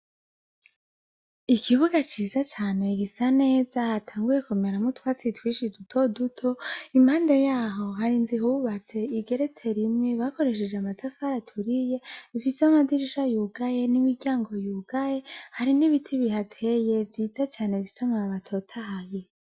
Ikibuga kinini cane gisa neza, hatanguye kumeramwo utwatsi duto duto, impande yaho hari inzu ihubatse igeretse rimwe, bakoresheje amatafari aturiye, ifise amadirisha yugaye, n'imiryango yugaye. Hari n'ibiti bihateye, vyiza cane bifise amababi atotahaye.